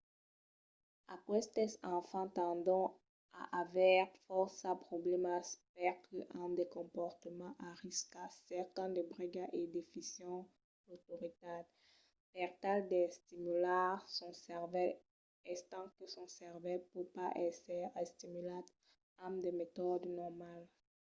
aquestes enfants tendon a aver fòrça problèmas perque an de comportaments a risca cercan de bregas e desfison l'autoritat per tal d'estimular son cervèl estant que son cervèl pòt pas èsser estimulat amb de metòdes normals